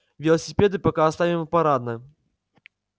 велосипеды пока оставим в парадном